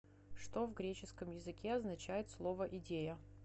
что в греческом языке означает слово идея